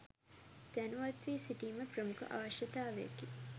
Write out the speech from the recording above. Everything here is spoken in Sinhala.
දැනුවත් වී සිටීම ප්‍රමුඛ අවශ්‍යතාවකි.